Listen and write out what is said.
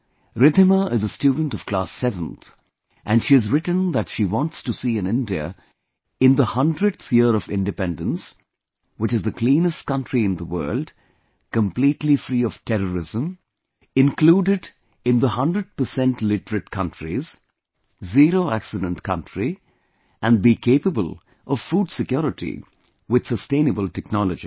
Riddhima is a student of class 7th and she has written that she wants to see an India in the 100th year of independence which is the cleanest country in the world, completely free of terrorism, included in the 100 percent literate countries, Zero accident country, and be capable of food security with sustainable technology